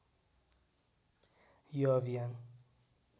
यो अभियान